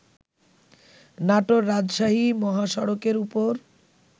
নাটোর-রাজশাহী মহাসড়কের ওপর